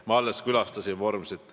Ma alles külastasin Vormsit.